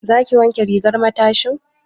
Za ki wanke rigar matashin?